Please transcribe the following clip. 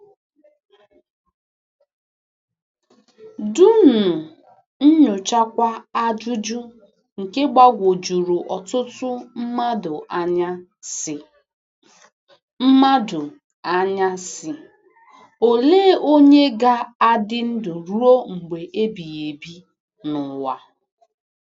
Dunnu nyochakwa ajụjụ nke gbagwojuru ọtụtụ mmadụ anya, sị, mmadụ anya, sị, Olee onye ga-adị ndụ ruo mgbe ebighị ebi n'ụwa?